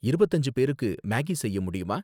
இருபத்து அஞ்சு பேருக்கு மேகி செய்ய முடியுமா